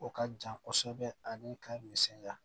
O ka jan kosɛbɛ ani ka misɛnya